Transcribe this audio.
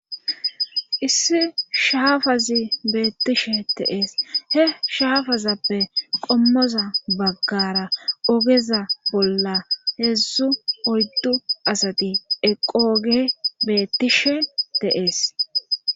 Issi shaafazi beettishe deees he shaafazappe qommoza baggara ogeza bolla heedzdzu oyddu asati eqooge beettishe deees.